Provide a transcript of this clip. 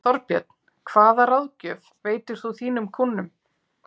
Þorbjörn: Hvaða ráðgjöf veitir þú þínum kúnnum?